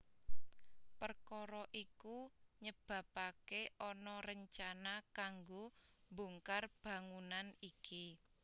Perkara iku nyebabake ana rencana kanggo mbongkar bangunan iki